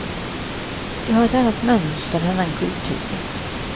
Det har ett annat mönster, en annan kultur.